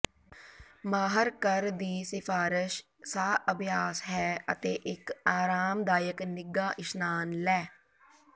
ਮਾਹਰ ਕਰ ਦੀ ਸਿਫਾਰਸ਼ ਸਾਹ ਅਭਿਆਸ ਹੈ ਅਤੇ ਇੱਕ ਆਰਾਮਦਾਇਕ ਨਿੱਘਾ ਇਸ਼ਨਾਨ ਲੈ